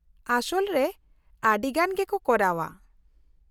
-ᱟᱥᱚᱞ ᱨᱮ ᱟᱹᱰᱤᱜᱟᱱ ᱜᱮᱠᱚ ᱠᱚᱨᱟᱣᱟ ᱾